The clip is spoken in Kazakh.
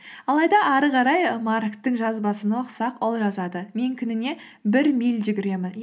алайда ары қарай марктың жазбасын оқысақ ол жазады мен күніне бір миль жүгіремін